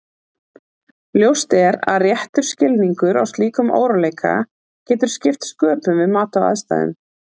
Ljóst er að réttur skilningur á slíkum óróleika getur skipt sköpum við mat á aðstæðum.